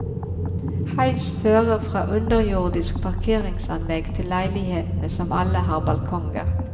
Heis fører fra underjordisk parkeringsanlegg til leilighetene som alle har balkonger.